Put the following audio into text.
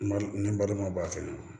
Ni n balima b'a fɛ